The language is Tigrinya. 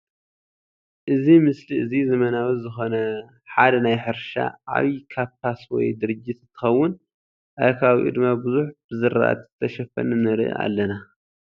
እዚ ምስሊ እዚ ዘመናዊ ዝኮነ ሓደ ናይ ሕርሻ ዓብይ ካፓስ ወይ ድርጅት እንትከውን ኣብ ከባቢኡ ድማ ቡዙሕ ብዝራሕቲ ዝተሸፈነ ንርኢ ኣለና ።